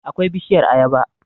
akwai bishiyar ayaba